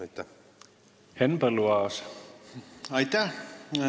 Aitäh!